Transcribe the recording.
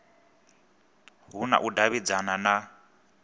hu na u davhidzana na